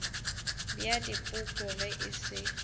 bja dipoko ge e se